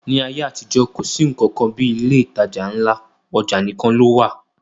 Ní ayé àtijọ́, kò sí nnkan kan bí ilé ìtajà ńlá, ọjà nìkan ló wà